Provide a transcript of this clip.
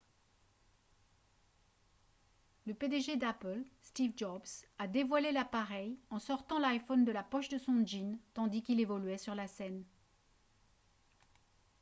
le pdg d'apple steve jobs a dévoilé l'appareil en sortant l'iphone de la poche de son jean tandis qu'il évoluait sur la scène